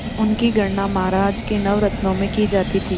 उनकी गणना महाराज के नवरत्नों में की जाती थी